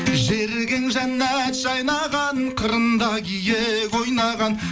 жерінде жәннат жайнаған қырында киік ойнаған